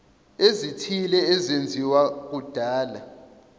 ezithile ezenziwa kudala